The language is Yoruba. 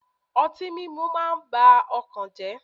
Ọtí múmu máa ń ba ọkàn jẹ́.